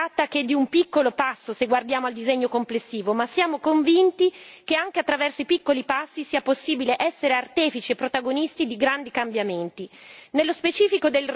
Evidentemente non si tratta che di un piccolo passo, se guardiamo al disegno complessivo, ma siamo convinti che anche attraverso i piccoli passi sia possibile essere artefici e protagonisti di grandi cambiamenti.